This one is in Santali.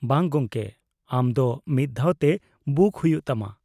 -ᱵᱟᱝ ᱜᱚᱝᱠᱮ, ᱟᱢ ᱫᱚ ᱢᱤᱫ ᱫᱷᱟᱹᱣ ᱛᱮ ᱵᱩᱠ ᱦᱩᱭᱩᱜ ᱛᱟᱢᱟ ᱾